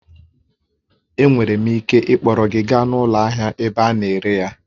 Enwere m ike ịkpọrọ gị gaa ụlọ ahịa ebe a na-ere ya